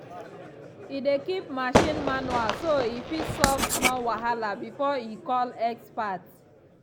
e dey keep machine manual so e fit solve small wahala before e call expert.